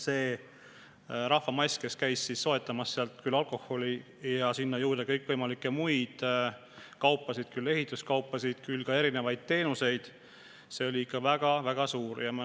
See rahvamass, kes käis soetamas sealt küll alkoholi ja sinna juurde kõikvõimalikke muid kaupasid, küll ehituskaupa, küll mitmesuguseid teenuseid, oli ikka väga suur.